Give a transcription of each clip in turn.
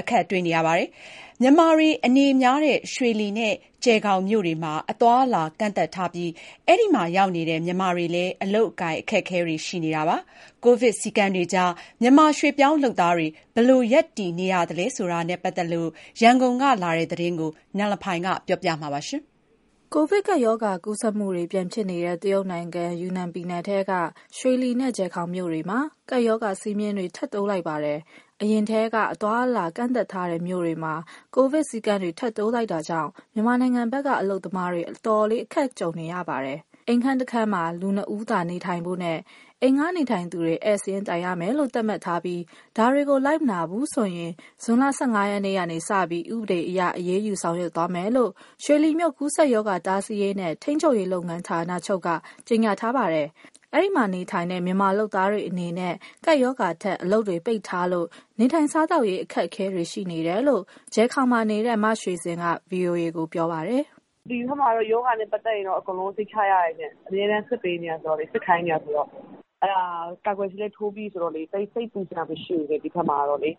အခက်တွေ့နေကြပါတယ်။ မြန်မာတွေအနေများတဲ့ ရွှေလီနဲ့ ကျယ်ဂေါင်မြို့တွေမှာ အသွားအလာကန့်သတ်ထား အဲဒီမှာရောက်နေတဲ့ မြန်မာတွေလည်း အလုပ်အကိုင်အခက်အခဲတွေ ရှိနေပါတယ်။ ရန်ကုန်ကပေးပို့တဲ့ သတင်းအပြည့်အစုံကို နန်လဖိုင် ပြောပြမှာပါ။ ကိုဗစ်ကပ်ရောဂါကူးစက်မှုတွေ ပြန်ဖြစ်နေတဲ့ တရုတ်နိုင်ငံ ယူနန်ပြည်နယ်ထဲက ရွှေလီနဲ့ ကျယ်ဂေါင်မြို့တွေမှာ ကပ်ရောဂါစည်းမျဉ်းတွေ ထပ်တိုးလိုက်ပါတယ်။ အရင်ထဲက အသွားအလာတွေကန့်သတ်ထားတဲ့မြို့တွေမှာ ကိုဗစ် စည်းကမ်းတွေ ထပ်တိုးလိုက်တာကြောင့် မြန်မာနိုင်ငံဖက်က အလုပ်သမားတွေ အတော်လေး အခက်ကြုံနေပါတယ်။ အိမ်ခန်းတခန်းမှာ လူနှစ်ဦးသာ နေထိုင်ဖို့နဲ့ အိမ်ငှားနေထိုင်သူတွေ ဧည့်စာရင်းတိုင်ရမယ်လို့ သတ်မှတ်ထားပြီး၊ ဒါတွေကို မလိုက်နာဘူးဆိုရင် ဇွန် ၁၅ ရက်နေ့ကစပြီး ဥပဒေအရ အရေးယူဆောင်ရွက်သွားမယ်လို့ ရွှေလီမြို့ ကူးစက်ရောဂါ တားဆီးရေးနဲ့ ထိန်းချုပ်ရေးလုပ်ငန်း ဌာနချုပ်က ကြေညာထားပါတယ်။ အဲဒီမှာနေထိုင်တဲ့ မြန်မာလုပ်သားတွေ အနေနဲ့ ကပ်ရောဂါထက် အလုပ်တွေပိတ်ထားလို့ နေထိုင်စားသောက်ရေး အခက်အခဲတွေရှိနေတယ်လို့ ကျယ်ဂေါင်မှာနေတဲ့ မရွှေစင်က ဗွီအိုအေကိုပြောပါတယ်။ “ဒီဘက်မှာတော့ ရောဂါနဲ့ပတ်သက်ရင် အကုန်လုံးစိတ်ချရတယ်ရှင့်။ အမြဲတမ်း စစ်ခိုင်းနေတာဆိုတော့ ကာကွယ်ဆေးလည်း ထိုးပြီးပြီဆိုတော့ ကျယ်ဂေါင်ဘက်မှာက သိပ်စိတ်ပူစရာမရှိဘူး။ ဒါပေမဲ့ အလုပ်လု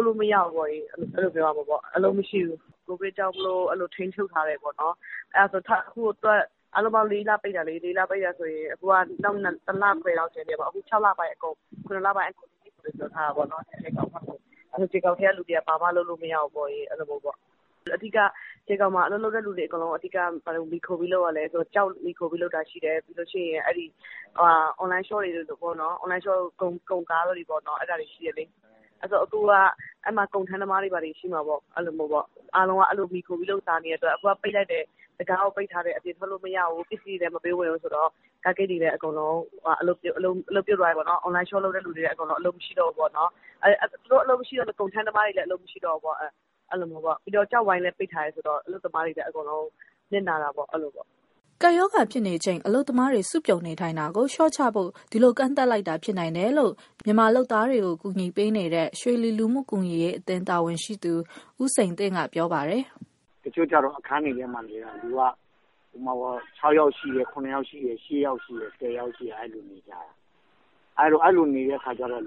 ပ်လို့ မရဘူး၊ အလုပ်မရှိဘူး။ ကိုဗစ်ကြောင့် ထိန်းချုပ်ထားတယ်ပေါ့နော်။ အားလုံးပေါင်း လေးလပိတ်တာ၊ အခု ၇လပိုင်းကုန်တဲ့အထိ ကျယ်ဂေါင်ဘက်ကလူတွေက ဘာမှလုပ်လို့မရဘူး။ ကျယ်ဂေါင်ဘက်မှာ ဘာတွေအဓိကလုပ်ရလဲ ဆိုတော့ ကျောက်တို့၊ အွန်လိုင်းရှော့ပ်နဲ့ ကုန်တင်ကားတွေကို မှီခိုပြီးလုပ်ကြတယ်။။ အဲလို မှီခိုပြီးလုပ်နေရတာ အခုက တံခါးကိုပိတ်လိုက်တယ်၊ အပြင်ထွက်လို့မရဘူး၊ ပစ္စည်းတွေလည်း မပေးဝင်ဘူးဆိုတော့ ကားဂိတ်တွေရော၊ အွန်လိုင်းရှော့ပ်လုပ်သူတွေရော အလုပ်မရှိတော့ဘူးပေါ့နော်။ သူတို့အလုပ်မရှိတော့ ကုန်ထမ်းသမားတွေလည်း အလုပ်မရှိတော့ဘူးပေါ့။ ပြီးတော့ ကျောက်ဝိုင်းကိုလည်း ပိတ်ထားတယ်ဆိုတော့ အလုပ်သမားတွေအတွက် နစ်နာတာပေါ့။” ကပ်ရောဂါ ဖြစ်နေချိန် အလုပ်သမားတွေ စုပြုံနေထိုင်တာကို လျှော့ချဖို့ ဒီလိုကန့်သတ်လိုက်တာ ဖြစ်နိုင်တယ်လို့ မြန်မာလုပ်သားတွေကို ကူညီပေးနေတဲ့ ရွှေလီလူမှုကူညီရေးအသင်း တာဝန်ရှိသူ ဦးစိန်တင့်က ပြောပါတယ်။ “တချို့ကျတော့ အခန်းတွေထဲမှာနေတာ လူက ၆ယောက်ကနေ ၁၀ယောက်အထိ ရှိတယ်။ အဲလို နေတဲ့အခါကျတော့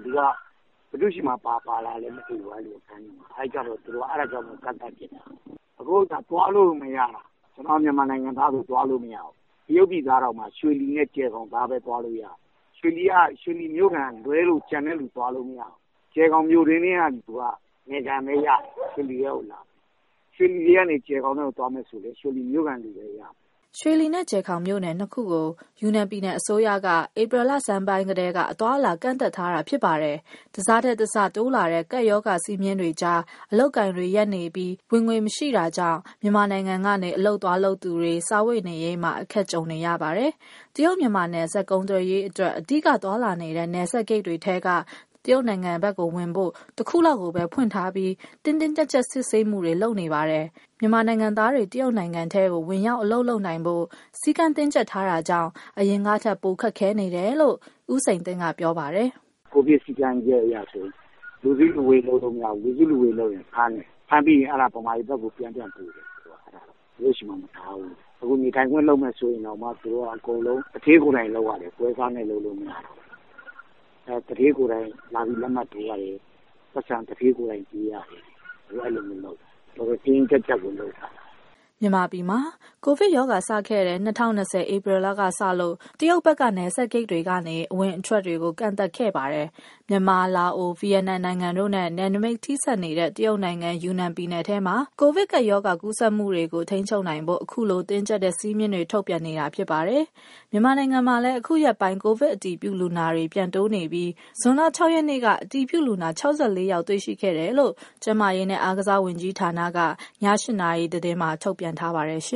ဘယ်သူ့ဆီမှာ ဘာပါလာလဲမသိဘူးပေါ့၊ အဲတော့ အဲလိုကန့်သတ်လိုက်တာ။ အခုက သွားလို့ကိုမရတာ။ ကျနော်တို့ မြန်မာနိုင်ငံသားဆို သွားလို့မရဘူး။ တရုတ်ပြည်သားတောင်မှ ရွှေလီနဲ့ ကျယ်ဂေါင်သားပဲ သွားလို့ရတယ်။ ရွှေလီက ရွှေလီမြို့ခံကလွဲလို့ ကျန်တဲ့သူသွားလို့ မရဘူး။ ကျယ်ဂေါင်မြို့တွင်းထဲက လူက နယ်ခံပဲရတယ်၊ ရွှေလီထဲကို သွားမရဘူး။ ရွှေလီထဲက ကျယ်ဂေါင်ကိုသွားမယ်ဆိုလည်း ရွှေလီမြို့ခံပဲ သွားလို့ရတယ်။” ရွှေလီနဲ့ ကျယ်ဂေါင်မြို့နယ် နှစ်ခုကို ယူနန်ပြည်နယ်အစိုးရက ဧပြီလဆန်းပိုင်းကတည်းက အသွားအလာ ကန့်သတ်ထားတာဖြစ်ပါတယ်။ တစထက်တစ တိုးလာတဲ့ ကပ်ရောဂါစည်းမျဉ်းတွေကြား အလုပ်အကိုင်တွေ ရပ်နေပြီး ဝင်ငွေမရှိတာကြောင့် မြန်မာနိုင်ငံကနေ အလုပ်သွားလုပ်သူတွေ စားဝတ်နေရေးမှာ အခက်ကြုံနေကြပါတယ်။ တရုတ် မြန်မာနယ်စပ် ကုန်သွယ်ရေးအတွက် အဓိက သွားလာနေတဲ့ နယ်စပ်ဂိတ်တွေထဲက တရုတ်နိုင်ငံဖက်ဝင်ဖို့ ၁ ခုလောက်ကိုပဲ ဖွင့်ပေးထားပြီး တင်းတင်းကြပ်ကြပ် စစ်ဆေးမှုတွေလုပ်နေပါတယ်။ မြန်မာနိုင်ငံသားတွေ တရုတ်နိုင်ငံထဲမှာ ဝင်ရောက်အလုပ်လုပ်နိုင်ဖို့ စည်းကမ်း တင်းကြပ်ထားတာကြောင့် အရင်ကထက် ပိုခက်ခဲနေတယ်လို့ ဦးစိန်တင့်က ပြောပါတယ်။ “ကိုဗစ်စည်းကမ်းချက်အရ ဆိုရင် လူစုလူဝေးလုပ်လို့ မရဘူး။ လူစုလူဝေးလုပ်ရင် ဖမ်းတယ်။ ဖမ်းပြီးရင် မြန်မာပြည်ဘက်ကို ပြန်ပြန်ပို့တယ်၊ သူတို့ဆီမှာမထားဘူး။ အခုနေထိုင်ခွင့်လုပ်မယ် ဆိုရင်တောင်မှ သူတို့က အကုန်လုံး သူဌေးကိုယ်တိုင်လုပ်ရတယ်၊ ပွဲစားနဲ့လုပ်လို့ မရဘူး။ သူဌေးကိုယ်တိုင် လာပြီးလုပ်ရတယ်၊ လက်မှတ်ထိုးရတယ်၊ အခု အဲလိုလုပ်နေတာ။ တော်တော် တင်းတင်းကြပ်ကြပ်ကို လုပ်ထားတာ။” မြန်မာပြည်မှာ ကိုဗစ်ကပ်ရောဂါစခဲ့တဲ့ ၂၀၂၀ ဧပြီလကစလို့ တရုတ်ဘက်က နယ်စပ်ဂိတ်တွေကနေ အဝင် အထွက်ကို ကန့်သတ်ခဲ့ပါတယ်။ မြန်မာ၊ လာအို၊ ဗီယက်နမ်နိုင်ငံတို့နဲ့ နယ်နမိတ်ထိဆက်နေတဲ့ တရုတ်နိုင်ငံ ယူနန်နယ်မှာ ကိုဗစ်ကပ်ရောဂါ ကူးစက်မှုကို ထိန်းချုပ်နိုင်ဖို့ ခုလို တင်းကြပ်တဲ့ စည်းကမ်းတွေ ထုတ်ပြန်နေတာဖြစ်ပါတယ်။ မြန်မာနိုင်ငံမှာလည်း အခုရက်ပိုင်း ကိုဗစ်အတည်ပြုလူနာတွေ ပြန်တိုးလာနေပြီး ဇွန် ၆ ရက်နေ့က အတည်ပြုလူနာ ၆၄ ယောက်တေ့ွရှိတယ်လို့ ကျန်းမာရေးနဲ့ အားကစားဝန်ကြီးဌာနက ည ၈ နာရီသတင်းမှာ ထုတ်ပြန်ထားပါတယ်။